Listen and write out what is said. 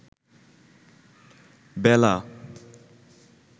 বেলা